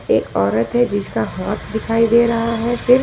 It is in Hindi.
एक औरत है जिसका हाथ दिखाई दे रहा है फिर--